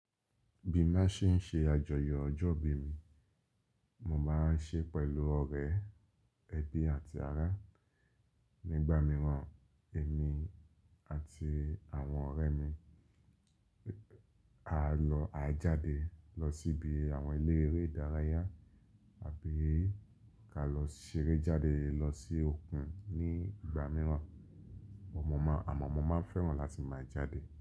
Bí n màá ṣe ń ṣe àjọyọ̀ ọjọ́ ìbí mi, mo máa ń ṣe pẹ̀lú ọ̀rẹ́, ẹbí àti ará. Nígbà mìíràn, èmi àti àwọn ọ̀rẹ́ mi á lọ á jáde lọ síbi àwọn ilé eré ìdárayá àbí ka lọ ṣeré jáde lọ sí òkun. Ní ìgbà mìíràn mo màá, àmọ́ mo máa ń fẹ́ràn láti máa jáde.